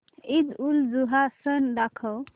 ईदउलजुहा सण दाखव